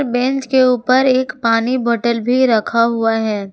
Bench के ऊपर एक पानी बॉटल भी रखा हुआ है।